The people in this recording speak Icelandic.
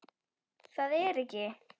Það er ekki.